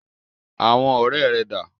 Àwọn ọ̀rẹ́ rẹ̀ dà?